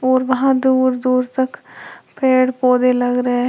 और वहां दूर दूर तक पेड़ पौधे लगा रहे हैं।